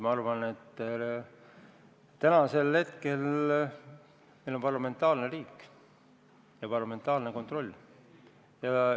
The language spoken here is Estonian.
Ma arvan, et täna on meil parlamentaarne riik ja parlamentaarne kontroll.